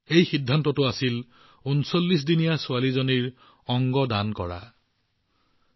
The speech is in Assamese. আৰু সিদ্ধান্তটো আছিল এজনী ছোৱালীৰ অংগ দান যি কেৱল উনচল্লিশ দিনৰ আছিল